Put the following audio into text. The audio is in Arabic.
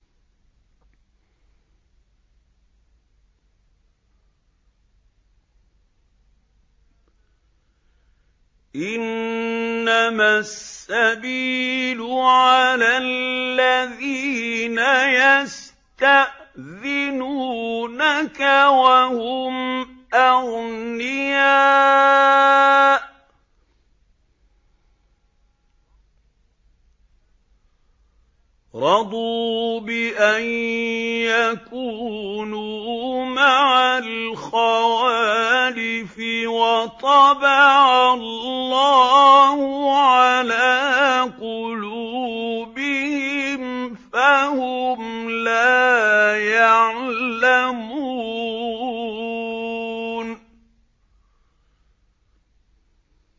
۞ إِنَّمَا السَّبِيلُ عَلَى الَّذِينَ يَسْتَأْذِنُونَكَ وَهُمْ أَغْنِيَاءُ ۚ رَضُوا بِأَن يَكُونُوا مَعَ الْخَوَالِفِ وَطَبَعَ اللَّهُ عَلَىٰ قُلُوبِهِمْ فَهُمْ لَا يَعْلَمُونَ